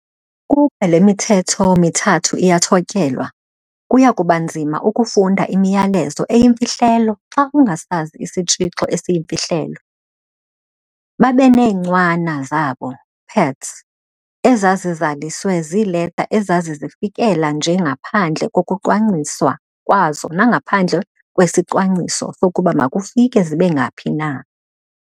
Ukuba le mithetho mithathu iyathotyelwa, kuyakubanzima ukufunda imiyalezo eyimfihlelo xa ungasazi isitshixo esiyimfihlelo. Babeneencwana zabo, "pads", ezazizaliswe ziileta ezazizifikela nje ngaphandle kokucwangciswa kwazo nangaphandle kwesicwangciso sokuba makufike zibengaphi na.